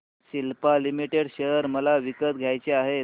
Cipla limited share मला विकत घ्यायचे आहेत